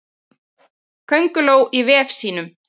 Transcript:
Könguló í vef sínum.